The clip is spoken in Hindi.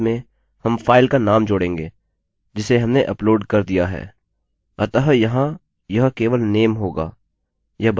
और उसके अंत में हम फाइल का नाम जोड़ेंगे जिसे हमने अपलोड कर दिया है